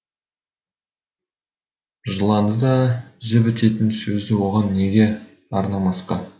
жыланды да жібітетін сөзді оған неге арнамасқа